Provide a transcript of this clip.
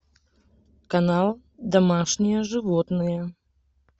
канал домашние животные